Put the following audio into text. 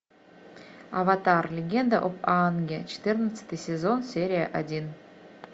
аватар легенда об аанге четырнадцатый сезон серия один